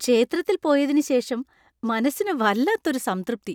ക്ഷേത്രത്തിൽ പോയതിന് ശേഷം മനസ്സിന് വല്ലാത്തൊരു സംതൃപ്തി.